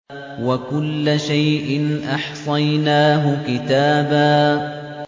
وَكُلَّ شَيْءٍ أَحْصَيْنَاهُ كِتَابًا